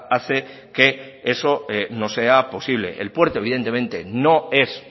hace que eso no sea posible el puerto evidentemente no es